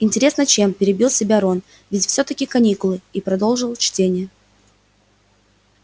интересно чем перебил себя рон ведь всё-таки каникулы и продолжил чтение